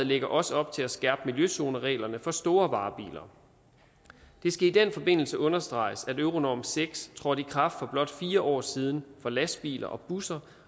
lægger også op til at skærpe miljøzonereglerne for store varebiler det skal i den forbindelse understreges at euronorm seks trådte i kraft for blot fire år siden for lastbiler og busser